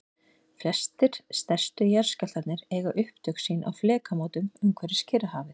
flestir stærstu jarðskjálftarnir eiga upptök sín á flekamótum umhverfis kyrrahafið